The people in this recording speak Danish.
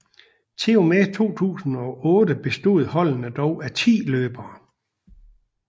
Til og med 2008 bestod holdene dog af 10 løbere